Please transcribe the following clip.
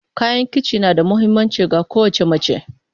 Kayan kici na da mahimmanci ga kowace mace.